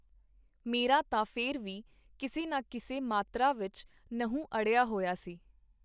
ਮੇਰਾ ਤਾਂ ਫੇਰ ਵੀ ਕਿਸੇ ਨਾ ਕਿਸੇ ਮਾਤਰਾ ਵਿਚ ਨਹੁੰ ਅੜਿਆ ਹੋਇਆ ਸੀ.